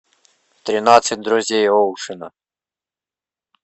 тринадцать друзей оушена